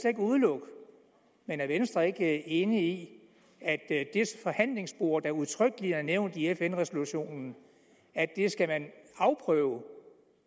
ikke udelukke men er venstre ikke enig i at det forhandlingsspor der udtrykkeligt er nævnt i fn resolutionen skal man afprøve